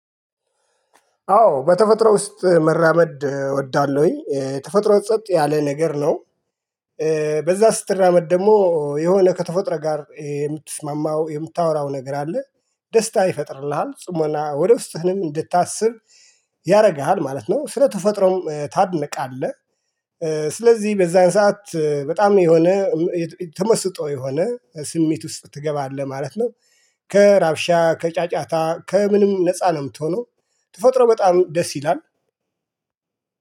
አዎ በተፈጥሮ ውስጥ መራመድ እወዳለሁኝ ተፈጥሮ ጸጥ ያለ ነገር ነው። በዛ ስትራመድ ደግሞ የሆነ ከተፈጥሮ ጋር የምትስማማው የምታወራው ነገር አለ። ደስታ ይፈጥርልሃል ጽሞና ወደ ውስጥህንም እንድታስብ ያደርግሃል ማለት ነው። ስለተፈጥሮም ታድንቃለህ። ስለዚህ በዛን ሰዓት በጣም የሆነ ተመስጦ የሆነ ስሜት ውስጥ ትገባለህ ማለት ነው። ከራብሻ ከጫጫታ ከምንም ነፃ ነው የምትሆነው። ተፈጥሮ በጣም ደስ ይላል